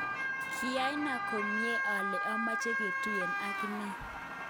kiana komien ale amache kejutnge ak akine